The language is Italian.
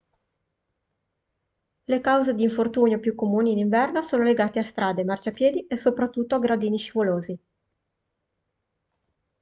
le cause d'infortunio più comuni in inverno sono legate a strade marciapiedi e soprattutto gradini scivolosi